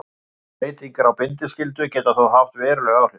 Breytingar á bindiskyldu geta þó haft veruleg áhrif.